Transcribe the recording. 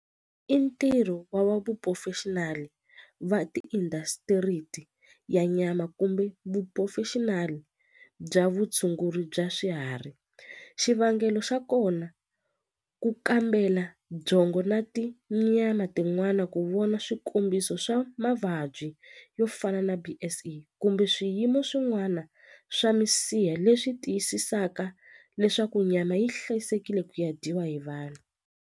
I ntirho wa va va ti ya nyama kumbe bya vutshunguri bya swiharhi xivangelo xa kona ku kambela byongo na tinyama tin'wana ku vona swikombiso swa mavabyi yo fana na B_S_E kumbe swiyimo swin'wana swa misiha leswi tiyisisaka leswaku nyama yi hlayisekile ku ya dyiwa hi vanhu.